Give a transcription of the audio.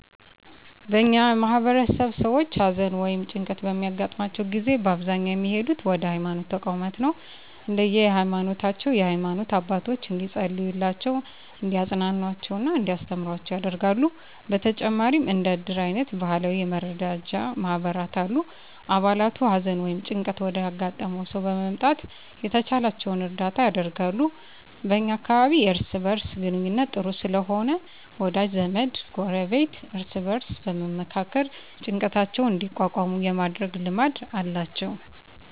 በእኛ ማህበረሰብ ሰዎች ሀዘን ወ ይም ጭንቀት በሚያገጥማቸው ጊዜ በአብዛኛው የሚሄዱት ወደ ሀይማኖት ተቋማት ነው። እንደየ ሀይማኖታቸው የሃይማኖት አባቶች እንዲፀልዩላቸው፣ እንዲያፅናኑአቸው እና እንዲያስተምሩአቸው ያደርጋሉ። በተጨማሪም እንደ እድር አይነት ባህላዊ የመረዳጃ ማህበራት አሉ። አባላቱ ሀዘን ወይም ጭንቀት ወዳጋጠመው ሰው በመምጣት የተቻላቸውን እርዳታ ያደርጋሉ። በ እኛ አካባቢ የእርስ በእርስ ግንኙነቱ ጥሩ ስለሆነ ወዳጅ ዘመድ፣ ጎረቤት እርስ በእርስ በመመካከር ጭንቀታቸውን እንዲቋቋሙ የማድረግ ልማድ አላቸው።